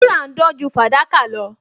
Wúrà ń dán ju fàdákà lọ